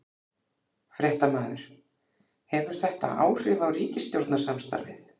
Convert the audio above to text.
Fréttamaður: Hefur þetta áhrif á ríkisstjórnarsamstarfið?